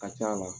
A ka c'a la